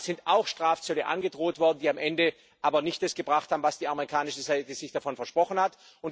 Damals sind auch Strafzölle angedroht worden, die am Ende aber nicht das gebracht haben, was die amerikanische Seite sich davon versprochen hat.